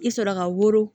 I sɔrɔ ka woro